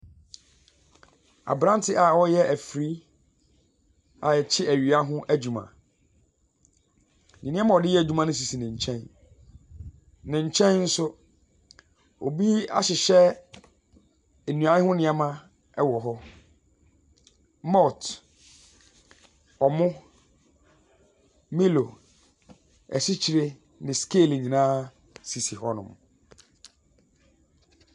Abranteɛ a ɔreyɛ ɛfiri a ɛkye ɛwia ho adwuma. Nnoɔma a ɔdeyɛ adwuma no sisi ne nkyɛn. Ne nkyɛn nso, obi ahyehyɛ nnua ho nnoɔma ɛwo hɔ; malt, ɔmo, milo, ɛsikyire ne scale nyinaa esisi hɔ nom.